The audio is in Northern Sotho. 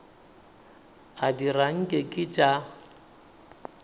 a dira nke ke tša